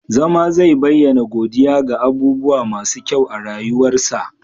zama zai bayyana godiya ga abubuwa masu kyau a rayuwarsa